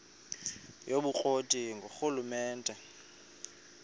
yobukro ti ngurhulumente